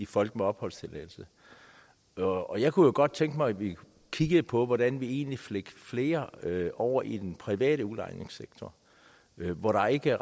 folk med opholdstilladelse og jeg kunne jo godt tænke mig at vi kiggede på hvordan vi egentlig fik flere over i den private udlejningssektor hvor der ikke